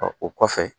o kɔfɛ